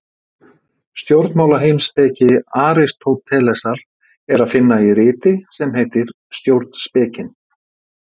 Stjórnmálaheimspeki Aristótelesar er að finna í riti sem heitir Stjórnspekin.